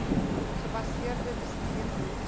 gebaseerde bestuur behoefte